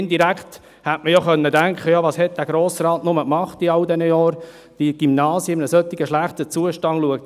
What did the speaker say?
Indirekt hätte man sich fragen können, was der Grosse Rat wohl in all diesen Jahren getan hat, dass die Gymnasien in einem solch schlechten Zustand sind.